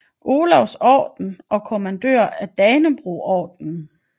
Olavs Orden og Kommandør af Danebrogordenen